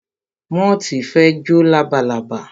Móòtì fe jọ labalábá